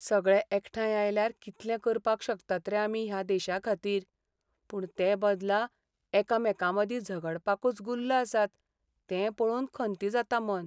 सगळे एकठांय आयल्यार कितलें करपाक शकतात रे आमी ह्या देशाखातीर. पूण तेबदला एकामेकांमदीं झगडपाकूच गुल्ल आसात तें पळोवन खंती जाता मन.